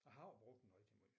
Jeg har jo brugt den rigtig måj